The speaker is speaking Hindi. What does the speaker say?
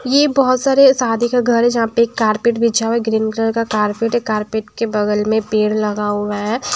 ये बहुत सारे शादी का घर है जहाँ पे एक कारपेट बिछा हुआ है ग्रीन कलर का कारपेट है कारपेट के बगल में पेड़ लगा हुआ है।